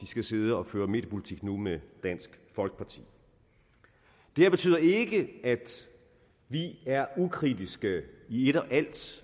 skal sidde og føre mediepolitik med dansk folkeparti det her betyder ikke at vi er ukritiske i et og alt